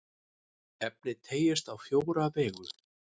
Efnið teygist á fjóra vegu.